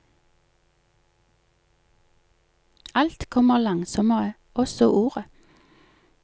Alt kommer langsommere, også ordet.